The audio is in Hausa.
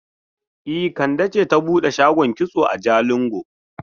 E, Kande ce ta bude shagon kitso a Jalingo.